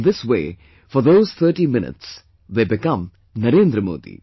In this way for those 30 minutes they become Narendra Modi